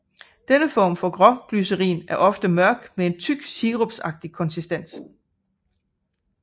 Denne form for råglycerin er ofte mørk med en tyk sirupsagtig konsistens